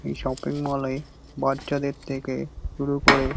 এই shopping mall -এ বাচ্চাদের থেকে শুরু করে।